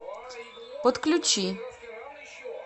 подключи